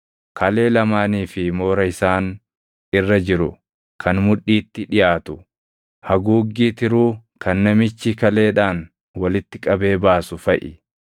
kalee lamaanii fi moora isaan irra jiru kan mudhiitti dhiʼaatu, haguuggii tiruu kan namichi kaleedhaan walitti qabee baasu faʼi.